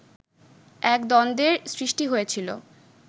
এক দ্বন্দ্বের সৃষ্টি হয়েছিল